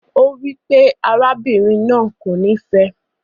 O wipe arábìnrin náà kò ni fẹ ẹ.